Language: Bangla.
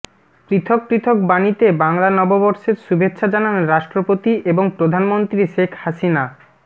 পৃথক পৃথক বাণীতে বাংলা নববর্ষের শুভেচ্ছা জানান রাষ্ট্রপতি এবং প্রধানমন্ত্রী শেখ হাসিনা